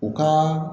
U ka